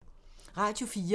Radio 4